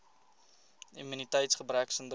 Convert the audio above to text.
immuniteits gebrek sindroom